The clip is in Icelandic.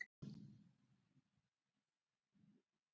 Elsku amma Helga.